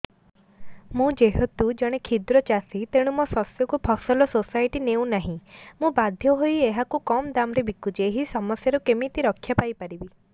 ମୁଁ ଯେହେତୁ ଜଣେ କ୍ଷୁଦ୍ର ଚାଷୀ ତେଣୁ ମୋ ଶସ୍ୟକୁ ଫସଲ ସୋସାଇଟି ନେଉ ନାହିଁ ମୁ ବାଧ୍ୟ ହୋଇ ଏହାକୁ କମ୍ ଦାମ୍ ରେ ବିକୁଛି ଏହି ସମସ୍ୟାରୁ କେମିତି ରକ୍ଷାପାଇ ପାରିବି